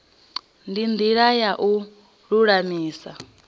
ndi ndila ya u lulamisa